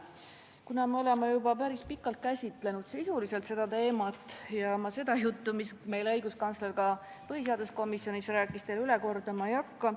Kuna me oleme juba päris pikalt seda teemat sisuliselt käsitlenud, siis ma seda juttu, mis meile õiguskantsler ka põhiseaduskomisjonis rääkis, üle kordama ei hakka.